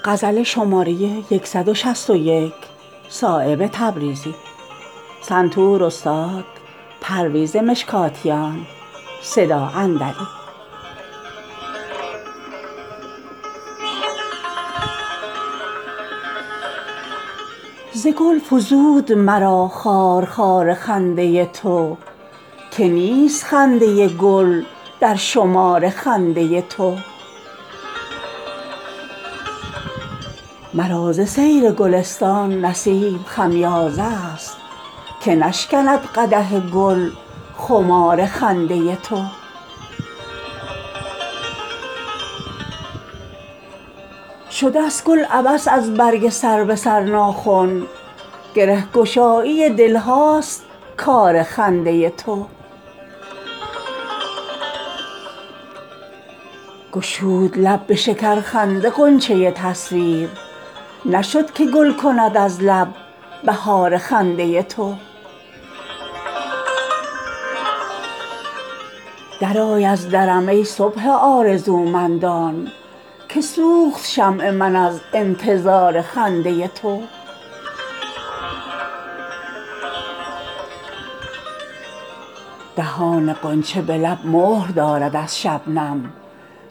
خسته چشم تو صاحب نظری نیست که نیست تشنه لعل تو روشن گهری نیست که نیست این چه شورست که حسن تو به عالم افکند که نمکدان ملاحت جگری نیست که نیست بخیه شبنم و گل بر رخ کار افتاده است ورنه حیران تو صاحب نظری نیست که نیست نه همین ذره درین دایره سرگردان است رقص سودای تو در هیچ سری نیست که نیست عالم از حسن گلوسوز تو شد باغ خلیل در دل سنگ تو تخم شرری نیست که نیست میوه سرو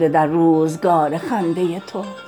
که گفته است همین آزادی است قامت سرکش او را ثمری نیست که نیست نه همین لاله و گل نعل در آتش دارند خار خار تو نهان در جگری نیست که نیست فتنه هر دو جهان زیر سر خشت خم است در خرابات مغان شور و شری نیست که نیست نظر پست تو شایسته جولان کف است ورنه در سینه دریا گهری نیست که نیست چون کنم نسبت آن لعل به یاقوت عقیم رو سفید از نمک او جگری نیست که نیست برو ای عقل به صحرای جنون پا مگذار شیشه باری تو و اینجا خطری نیست که نیست زهر دشنام بود قسمت عاشق ورنه در نهانخانه آن لب شکری نیست که نیست بعد ازین نامه مگر بر پر عنقا بندیم ورنه با نامه ما بال و پری نیست که نیست نه همین دیده شبنم ز نظربازان است محو خورشید تو صاحب نظری نیست که نیست گرچه از بیخبرانیم به ظاهر صایب در فرامشکده ما خبری نیست که نیست